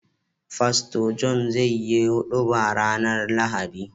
Pastor john zai yi huduba rAnar lahadi